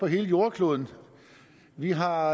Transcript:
hele jordkloden vi har